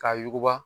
K'a yuguba